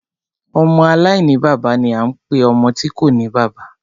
Ọmọ aláìní bàbá ni a ń pe ọmọ tí kòní bàbá.